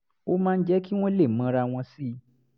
ó máa ń jẹ́ kí wọ́n lè mọra wọn sí i